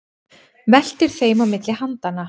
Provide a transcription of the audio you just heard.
Veltir þeim á milli handanna.